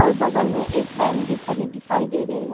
और बगल में एक वैन भी खड़ी दिखाई दे रही है।